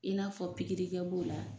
I n'a fɔ pikiri kɛ b'o la,